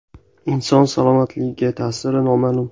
Inson salomatligiga ta’siri noma’lum.